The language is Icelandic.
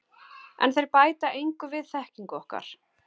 En þeir bæta engu við þekkingu okkar.